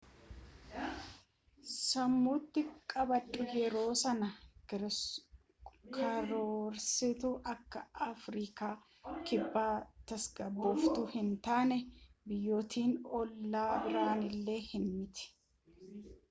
sammuuti qabadhu yeroo sana karoorsitu akka afriikan kibba tasgabooftuu hin taane biyyootni ollaa biroon illee hin miti